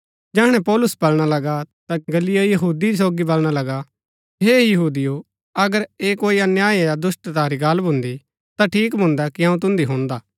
जैहणै पौलुस बलणा लगा ता गल्लियो यहूदी सोगी बलणा लगा हे यहूदियो अगर ऐह कोई अन्याय या दुष्‍टता री गल्ल भून्दी ता ठीक भून्दा कि अऊँ तुन्दी हुणदा